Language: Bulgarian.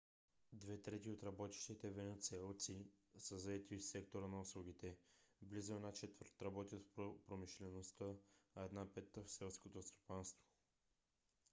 две трети от работещите венецуелци са заети в сектора на услугите близо една четвърт работят в промишлеността а една пета – в селското стопанство